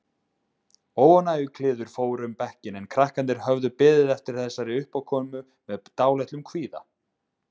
Óánægjukliður fór um bekkinn en krakkarnir höfðu beðið eftir þessari uppákomu með dálitlum kvíða.